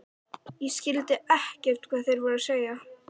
Ég skildi ekkert hvað þeir voru að segja.